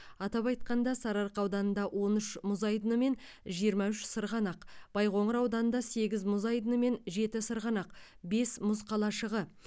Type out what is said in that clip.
атап айтқанда сарыарқа ауданында он үш мұз айдыны мен жиырма үш сырғанақ байқоңыр ауданында сегіз мұз айдыны мен жеті сырғанақ бес мұз қалашығы